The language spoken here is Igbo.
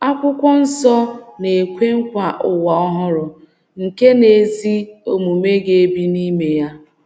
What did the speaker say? Akwụkwọ nsọ na - ekwe nkwa ụwa ọhụrụ nke ‘ ezi omume ga-ebi n’ime ya. ’